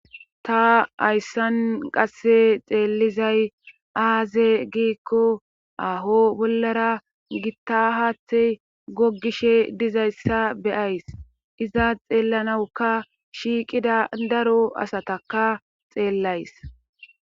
ta ayssan qasse xeellizay aaze giikko aho bollara gittahaate gogishe dizayssa beyays izaa xeellanawuka shiiqida daro asataka xeellays